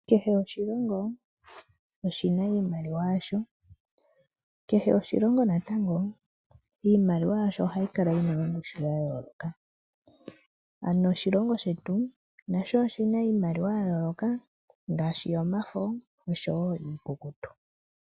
Kehe oshilongo oshina iimaliwa yasho, kehe oshilongo natango iimaliwa yasho ohayi kala yina ongushu ya yooloka. Oshilongo shetu nasho oshina iimaliwa ya yooloka ngaashi yomafo niikukutu.